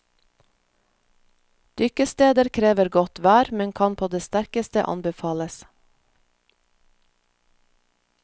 Dykkesteder krever godt vær, men kan på det sterkeste anbefales.